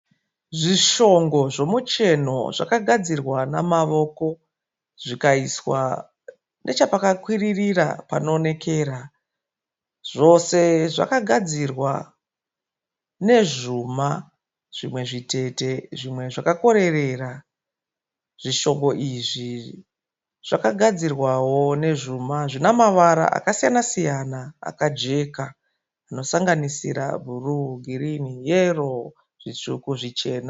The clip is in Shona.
Zvishongo zvomucheno zvakagadzirwa nemavoko zvikaiswa nechepakakwiririra panoonekera. Zvose zvakagadzirwa nezvuma zvimwe zvitete zvimwe zvakakorerera. Zvishongo izvi zvakagadzirwawo nezvuma zvine mavara akasiyana siyana akajeka anosanganisira bhuruu, girinhi, yero, zvitsvuku zvichena.